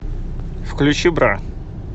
включи бра